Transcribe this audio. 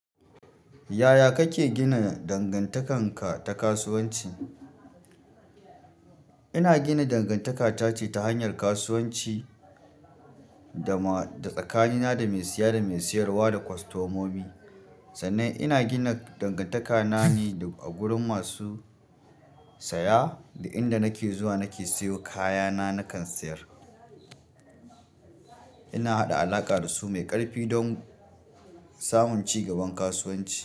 Yaya kake gina dangantakan ta kasuwanci? Ina gina dangantaka tace hanyar kasuwanci da tsakanina da mai siya da mai siyarwa da kostomomi, sannan ina gina dangantaka na ne a gurin masu saya da inda nake zuwa nake siyo kayana nakan sayar. Ina haɗa alaƙa da su mai ƙarfi don samun ci gaban kasuwanci.